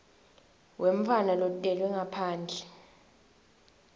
wemntfwana lotelwe ngaphandle